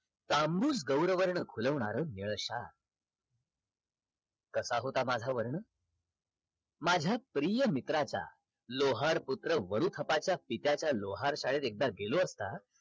तांबुल गौरवर्ण खुलवणार निळाशार कसा होता माझा वर्ण? माझ्या प्रिय मित्राचा लोहर पुत्र वरुखपाच्या पित्याच्या लोहार शाळेत एकदा गेलो असता